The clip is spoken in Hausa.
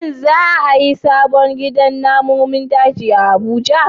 Shin za a yi sabon gidan namun daji a Abuja?